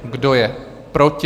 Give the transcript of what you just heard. Kdo je proti?